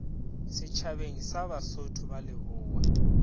setšhabeng sa basotho ba lebowa